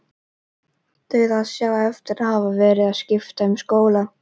Dauðsá eftir að hafa verið að skipta um skóla.